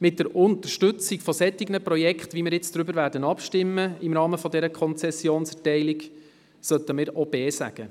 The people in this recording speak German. Mit der Unterstützung solcher Projekte, wie wir im Rahmen der Konzessionserteilung abstimmen werden, sollten wir auch B sagen.